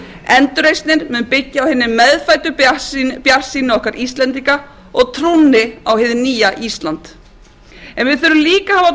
endurreisnin mun byggja á hinni meðfæddu bjartsýni okkar íslendinga og trúnni á hið nýja ísland en við þurfum líka að hafa trú